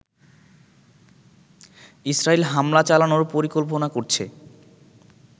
ইসরাইল হামলা চালানোর পরিকল্পনা করছে